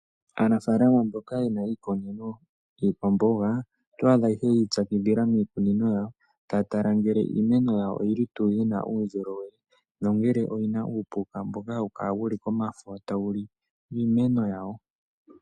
Aanafaalama mboka yena iikunino yiikwamboga oto adha yiipyakidhila miikunino yawo taya tala ngele iimeno yawo oyi li tu yina uundjolowele nongele oyina uupuka mboka hawu kala wuli komafo tawuli iimeno yawo.